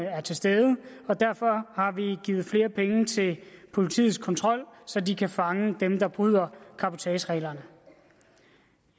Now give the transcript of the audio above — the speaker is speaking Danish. er til stede og derfor har vi givet flere penge til politiets kontrol så de kan fange dem der bryder cabotagereglerne